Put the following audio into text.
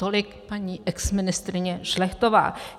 Tolik paní exministryně Šlechtová.